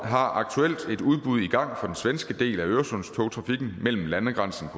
har aktuelt et udbud i gang for den svenske del af øresundstogtrafikken mellem landegrænsen